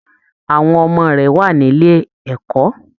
Àwọn ọmọ rẹ wà nílé ẹ̀kọ́